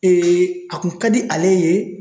a kun ka di ale ye